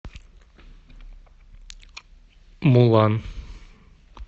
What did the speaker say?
мулан